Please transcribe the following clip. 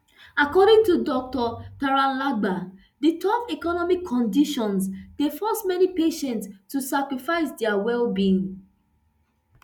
according to dr tralagba di tough economic conditions dey force many patients to sacrifice dia wellbeing